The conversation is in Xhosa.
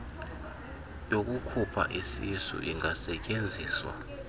yokukhupha isisu ingasetyenziswa